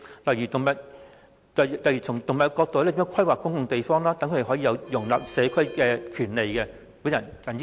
例如從動物角度規劃公共地方，讓牠們可以融入社區......